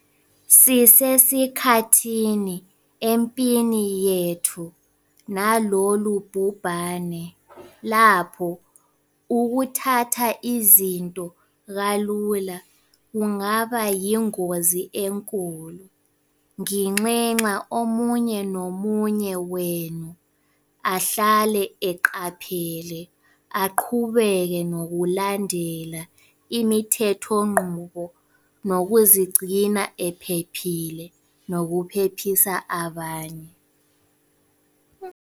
Sisesikhathini empini yethu nalolu bhubhane lapho ukuthatha izinto kalula kungaba yingozi enkulu. Nginxenxa omunye nomunye wenu ahlale eqaphele, aqhubeke nokulandela imithethonqubo, nokuzigcina uphephile nokuphephisa abanye.